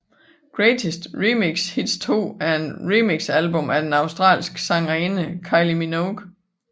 Greatest Remix Hits 2 er et remixalbum af den australske sangerinde Kylie Minogue